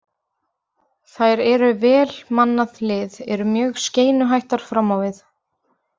Þær eru með vel mannað lið, eru mjög skeinuhættar fram á við.